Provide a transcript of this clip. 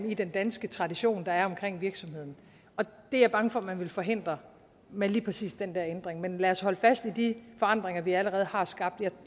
i den danske tradition der er omkring virksomheden det er jeg bange for at man vil forhindre med lige præcis den der ændring men lad os holde fast i de forandringer vi allerede har skabt